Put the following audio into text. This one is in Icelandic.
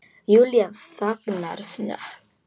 Júlía þagnar snöggt.